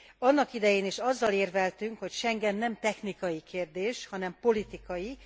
Annak idején is azzal érveltünk, hogy Schengen nem technikai kérdés, hanem politikai.